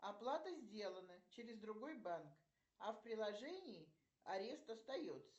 оплата сделана через другой банк а в приложении арест остается